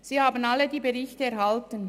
Sie alle haben die Berichte erhalten.